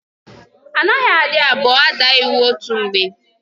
Anaghị adị abụọ ada iwu otu mgbe.